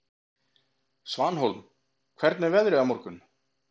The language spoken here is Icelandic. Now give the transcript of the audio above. Svanhólm, hvernig er veðrið á morgun?